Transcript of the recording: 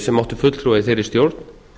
sem áttu fulltrúa í þeirri stjórn